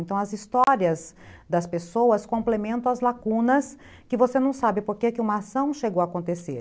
Então, as histórias das pessoas complementam as lacunas que você não sabe por que uma ação chegou a acontecer.